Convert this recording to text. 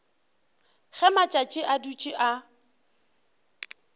ge matšatši a dutše a